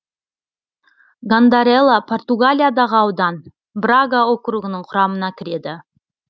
гандарела португалиядағы аудан брага округінің құрамына кіреді